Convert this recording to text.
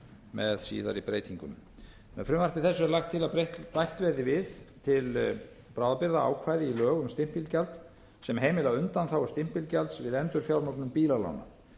með síðari breytingum með frumvarpi þessu er lagt til að bætt verði við til bráðabirgða ákvæði í lög um stimpilgjald sem heimila undanþágu stimpilgjalds við endurfjármögnun bílalána